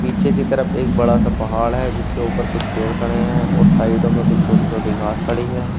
पीछे की तरफ एक बड़ा सा पहाड़ है जिसके ऊपर कुछ पेड़ खड़े हैं और साइडो में कुछ छोटी छोटी घास खड़ी है।